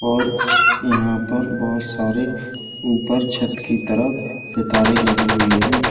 और यहां पर बहोत सारे ऊपर छत की तरफ सितारे लगे हुए हैं।